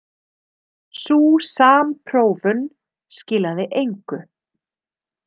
Sú samprófun skilaði engu.